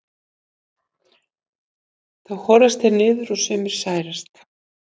þá horast þeir niður og sumir særast